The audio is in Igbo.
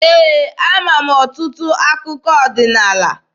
Ee, ama m ọtụtụ akụkọ ọdịnaala.